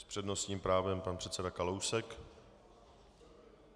S přednostním právem pan předseda Kalousek.